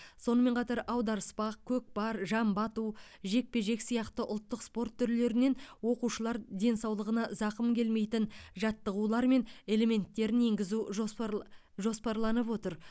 сонымен қатар аударыспақ көкпар жамбы ату жекпе жек сияқты ұлттық спорт түрлерінен оқушылар денсаулығына зақым келмейтін жаттығулары мен элементтерін енгізу жоспарлы жоспарланып отыр